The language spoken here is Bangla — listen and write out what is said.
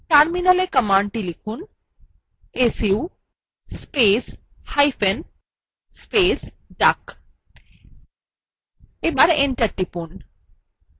terminalএ commandthe লিখুন su space hyphen space duck এবং enter টিপুন